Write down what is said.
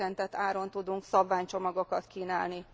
csökkentett áron tudunk szabványcsomagokat kínálni.